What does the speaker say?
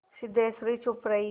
सिद्धेश्वरी चुप रही